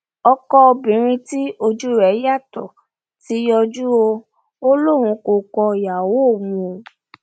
ọkọ obìnrin tí ojú rẹ yàtọ ti yọjú o ò lóun kò kọ ìyàwó òun o